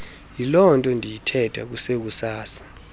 yilonto ndiyithetha kusekusasa